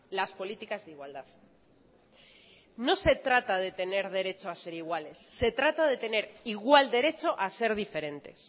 las políticas de igualdad no se trata de tener derecho a ser iguales se trata de tener igual derecho a ser diferentes